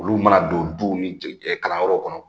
Olu mana don duw ni kalanyɔrɔw kɔnɔ